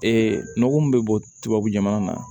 Ee nɔgɔ min bɛ bɔ tubabu jamana na